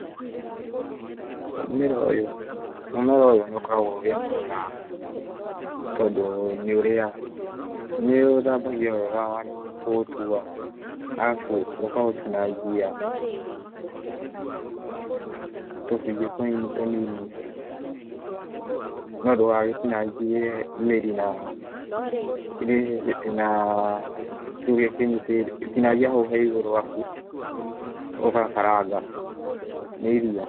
Mũmera ũyũ, mũmera ũyũ nĩ ũkoragwo wĩ mwega, tondũ nĩ ũrĩagwo, nĩ ũthambagio wega warĩkia kũũtua, arabu ũkaũtinangia tũcunjĩ tũnini tũnini no ndũgagĩtinangie mĩri na kĩũ kĩnyitĩte, tinangia hau he igũrũ ,arabu ũgakaranga, nĩ irio.